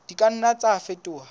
di ka nna tsa fetoha